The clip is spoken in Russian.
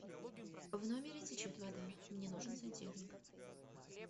в номере течет вода мне нужен сантехник